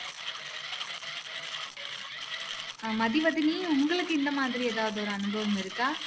அஹ் மதிவதனி உங்களுக்கு இந்த மாதிரி எதாவது ஒரு அனுபவம் இருக்கா